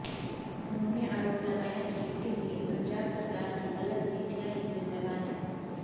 उन्होंने आरोप लगाया कि इसके लिए पंजाब सरकार काी गलत नीतियों ही जिम्मेवार हैं